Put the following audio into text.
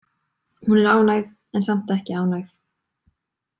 Hún er ánægð en samt ekki ánægð.